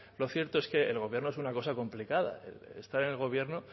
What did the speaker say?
lo cierto es que el gobierno es una cosa complicada estar en el gobierno